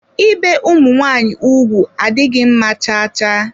Ibe ụmụ nwaanyị ụgwụ adịghị mma cha cha.